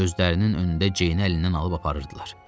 Gözlərinin önündə Ceyni əlindən alıb aparırdılar.